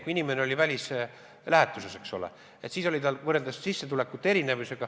Kui inimene oli välislähetuses, eks ole, siis tal oli sissetulek erinev.